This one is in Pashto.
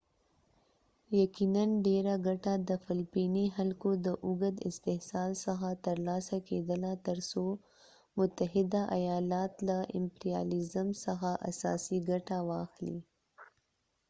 یقیناً ډیره ګټه د فلپیني خلکو د اوږد استحصال څخه ترلاسه کیدله تر څو متحده ایالات له امپریالیزم څخه اساسي ګټه واخلي